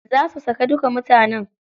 Za su sake duka mutanen.